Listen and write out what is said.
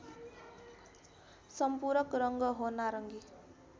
सम्पूरक रङ्ग हो नारङ्गी